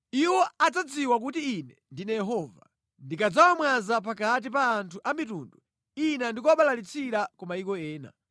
“Iwo adzadziwa kuti Ine ndine Yehova, ndikadzawamwaza pakati pa anthu a mitundu ina ndi kuwabalalitsira ku mayiko ena.